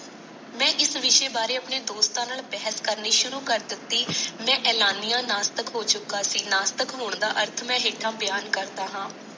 ਮੈ ਇਸ ਵਿਸ਼ੇ ਵਾਰੇ ਆਪਣੇ ਦੋਸਨਾ ਨਾਲ ਬਹਾਸ ਕਰਨੀ ਸ਼ੁਰੂ ਕਰ ਦਿਤੀ ਮੈ ਐਲਾਨੀਆਂ ਨਾਸਤਕ ਹੋ ਚੁੱਕਿਆ ਸੀ ਨਾਸਤਕ ਹੋਣ ਦਾ ਅਰਥ ਮੈ ਹੇਠਾਂ ਬਿਆਨ ਕਰਦਾ ਹਾਂ